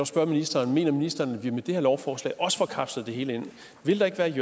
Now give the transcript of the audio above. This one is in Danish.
spørge ministeren mener ministeren at vi med det her lovforslag også får kapslet det hele ind vil der ikke